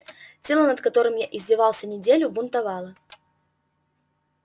тело над которым я издевался неделю бунтовало